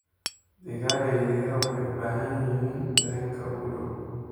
Digaaga yaryar waxay u baahan yihiin dareenka ugu dhow.